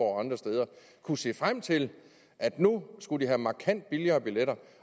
og andre steder kunne se frem til at nu skulle de have markant billigere billetter